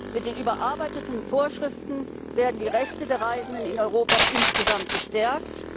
Mit den überarbeiteten Vorschriften werden die Rechte der Reisenden in Europa insgesamt gestärkt.